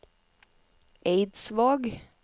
Eidsvåg